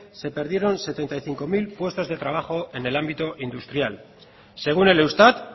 se perdieron setenta y cinco mil puestos de trabajo en el ámbito industrial según el eustat